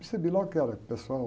Percebi logo que era pessoal...